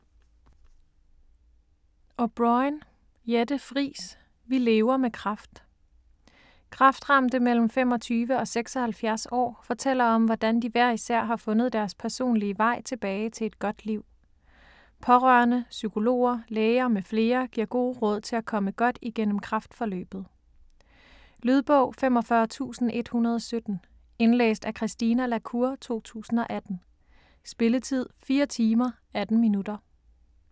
O'Brôin, Jette Friis: Vi lever med kræft Kræftramte mellem 25 og 76 år fortæller om, hvordan de hver især har fundet deres personlige vej tilbage til et godt liv. Pårørende, psykologer, læger m.fl. giver gode råd til at komme godt igennem kræftforløbet. Lydbog 45117 Indlæst af Christine la Cour, 2018. Spilletid: 4 timer, 18 minutter.